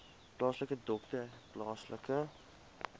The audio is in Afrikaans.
plaaslike dokter plaaslike